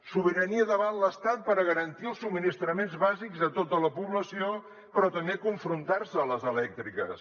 sobirania davant l’estat per garantir els subministraments bàsics a tota la població però també confrontar se a les elèctriques